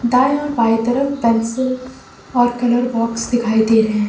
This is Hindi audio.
दाएं और बाएं दोनों तरफ पेंसिल और कलर बॉक्स दिखाई दे रहे हैं।